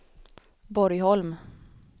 Borgholm